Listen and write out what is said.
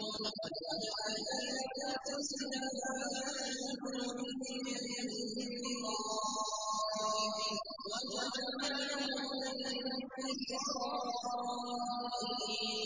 وَلَقَدْ آتَيْنَا مُوسَى الْكِتَابَ فَلَا تَكُن فِي مِرْيَةٍ مِّن لِّقَائِهِ ۖ وَجَعَلْنَاهُ هُدًى لِّبَنِي إِسْرَائِيلَ